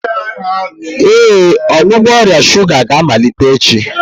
Ee, ọgwụgwọ ọrịa shuga ga-amalite echi.